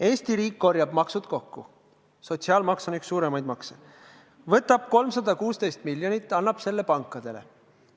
Eesti riik korjab maksud kokku – sotsiaalmaks on üks suuremaid makse –, võtab 316 miljonit ja annab pankadele.